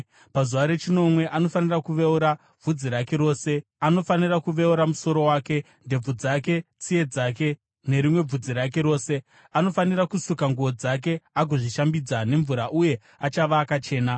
Pazuva rechinomwe anofanira kuveura bvudzi rake rose. Anofanira kuveura musoro wake, ndebvu dzake, tsiye dzake, nerimwe bvudzi rake rose. Anofanira kusuka nguo dzake agozvishambidza nemvura uye achava akachena.